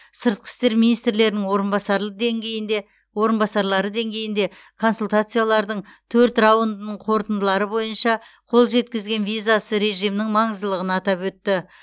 сыртқы істер министрлерінің орынбасарлық деңгейінде орынбасарлары деңгейінде консультациялардың төрт раундының қорытындылары бойынша қол жеткізілген визасыз режимнің маңыздылығын атап өтті